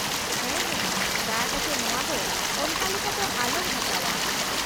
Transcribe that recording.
-ᱦᱟ ᱦᱟ , ᱫᱟᱭᱟ ᱠᱟᱛᱮ ᱱᱚᱶᱟ ᱫᱚ ᱚᱱᱠᱟ ᱞᱮᱠᱟ ᱫᱚ ᱟᱞᱚᱢ ᱦᱟᱛᱟᱣᱟ ᱾